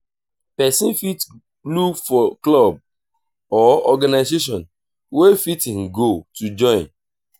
person fit look for club or organization wey fit im goal to join